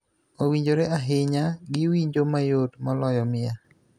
owinjore ahinya gi winjo mayot moloyo miel.